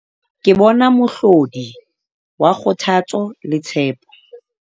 Ke bona mohlodi wa kgothatso le tshepo.